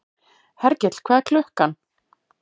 Hergill, hvað er klukkan?